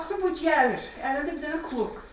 Baxdım bu gəlir, əlində bir dənə klok.